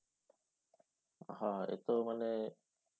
হ্যাঁ এত মানে